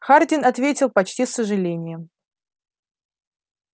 хардин ответил почти с сожалением